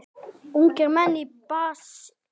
Ungir menn í basli.